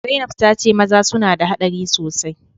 Zainab ta ce maza suna da hadari sosai